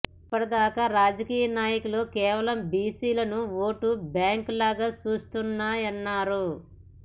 ఇప్పటిదాకా రాజకీయ నాయకులు కేవలం బీసీలను ఓటు బ్యాంకు లాగా చూస్తున్నాయన్నారు